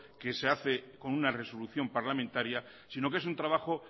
que se hace con una resolución parlamentaria sino que es un trabajo